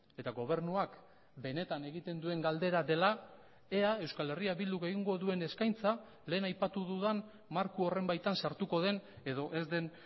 eta gobernuak benetan egiten duen galdera dela ea euskal herria bilduk egingo duen eskaintza lehen aipatu dudan marko horren baitan sartuko den edo ez den